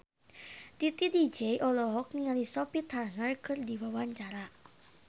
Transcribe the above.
Titi DJ olohok ningali Sophie Turner keur diwawancara